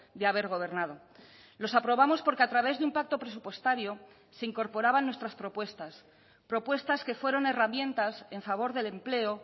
de haber gobernado los aprobamos porque a través de un pacto presupuestario se incorporaban nuestras propuestas propuestas que fueron herramientas en favor del empleo